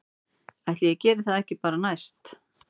Ætli ég geri það ekki bara næst